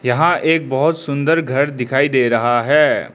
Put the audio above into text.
यहां एक बहोत सुंदर घर दिखाई दे रहा है।